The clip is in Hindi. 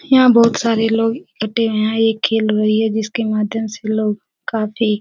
यहाँ बहोत सारे लोग इकठ्ठे हैं ये खेल रही है जिसके माध्यम से लोग काफी --